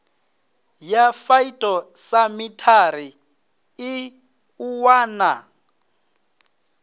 ya phytosamitary i ṱuwa na